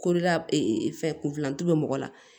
Korola fɛ kunfilanju bɛ mɔgɔ la